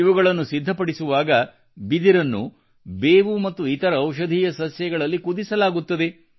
ಇವುಗಳನ್ನು ಸಿದ್ಧಪಡಿಸುವಾಗ ಬಿದಿರನ್ನು ಬೇವು ಮತ್ತು ಇತರ ಔಷಧೀಯ ಸಸ್ಯಗಳಲ್ಲಿ ಕುದಿಸಲಾಗುತ್ತದೆ